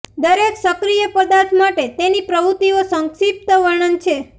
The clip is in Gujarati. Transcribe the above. દરેક સક્રિય પદાર્થ માટે તેની પ્રવૃત્તિઓ સંક્ષિપ્ત વર્ણન છે